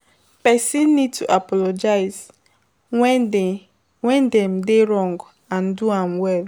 Person need to apologize when dem dey wrong and do am well